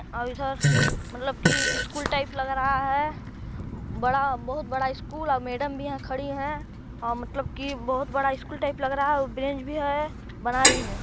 और इधर मतलब की स्कूल टाइप लग रहा है बड़ा बहुत बड़ा स्कूल और मैडम भी यहाँ खड़ी हैं और मतलब की बहुत बड़ा स्कूल टाइप लग रहा औ ब्रिज भी है बना रही है।